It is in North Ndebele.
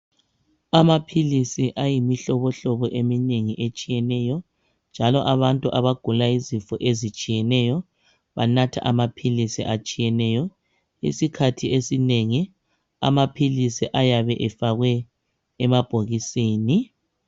Amaphilisi ayimihlobohlobo eminengi etshiyeneyo njalo abantu abagula izifo ezitshiyeneyo banatha amaphilisi atshiyeneyo isikhathi esinengi amaphilisi ayebe efakwe emabhokisini